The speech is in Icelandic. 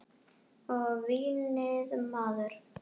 Og vínið maður!